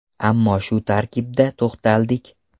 Ammo shu tarkibda to‘xtaldik.